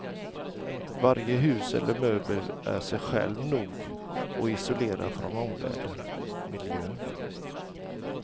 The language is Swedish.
Varje hus eller möbel är sig själv nog och isolerad från omvärlden, miljön.